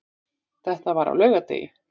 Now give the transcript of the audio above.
Þetta var á laugardegi.